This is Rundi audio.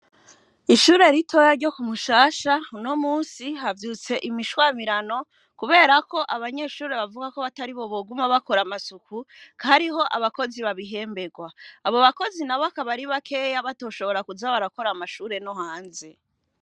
Ishure ritoya ryo kumushasha no musi havyutse imishwamirano, kubera ko abanyeshure bavuga ko batari bo boguma bakora amasuku kariho abakozi babihemberwa abo bakozi na bakabari bakeya batoshobora kuza barakora amashure no hanze.